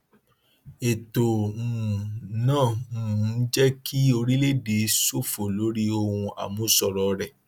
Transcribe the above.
ètò um náà um ń jé kí orílẹèdè ṣòfò lórí ohun àmúṣọrò rẹ